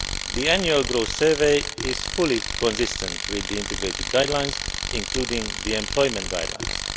The Annual Growth Survey is fully consistent with the Integrated Guidelines, including the Employment Guidelines.